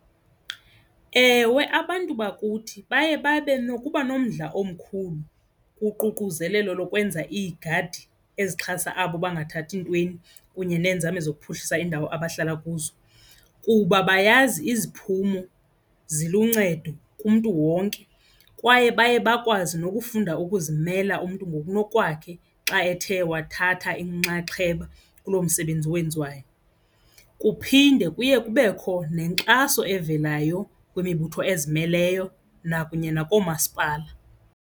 Ewe, abantu bakuthi baye babe nokuba nomdla omkhulu kuququzelelo lokwenza iigadi ezixhasa abo bangathathi ntweni kunye neenzame zokuphuhlisa iindawo abahlala kuzo kuba bayazi iziphumo ziluncedo kumntu wonke kwaye baye bakwazi nokufunda ukuzimela umntu ngokunokwakhe xa ethe wathatha inxaxheba kuloo msebenzi wenziwayo. Kuphinde kuye kubekho nenkxaso evelayo kwimibutho ezimeleyo nakunye nakoomasipala.